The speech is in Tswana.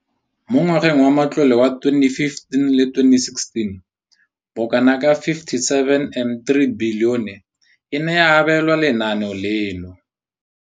Mo ngwageng wa matlole wa 2015,16, bokanaka R5 703 bilione e ne ya abelwa lenaane leno.